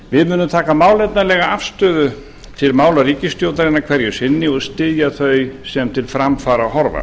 við munum taka málefnalega afstöðu til mála ríkisstjórnarinnar hverju sinni og styðja þau sem til framfara horfa